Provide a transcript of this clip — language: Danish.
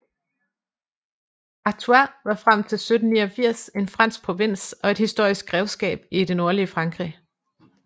Artois var frem til 1789 en fransk provins og et historisk grevskab i det nordlige Frankrig